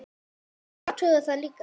Viltu athuga það líka!